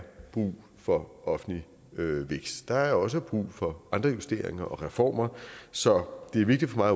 brug for offentlig vækst der er også brug for andre investeringer og reformer så det er vigtigt for